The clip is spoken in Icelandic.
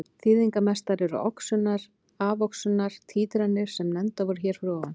Þýðingarmestar eru oxunar-afoxunar títranir sem nefndar voru hér fyrir ofan.